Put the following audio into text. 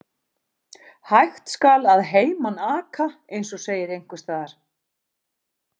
Hægt skal að heiman aka, eins og segir einhvers staðar.